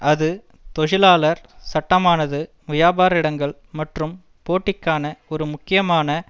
அது தொழிலாளர் சட்டமானது வியாபார இடங்கள் மற்றும் போட்டிக்கான ஒரு முக்கியமான